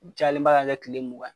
A cayalenba ka kɛ tile mugan ye.